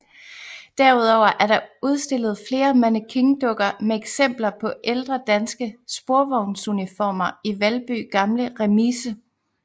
Derudover er der udstillet flere mannequindukker med eksempler på ældre danske sporvognsuniformer i Valby Gamle Remise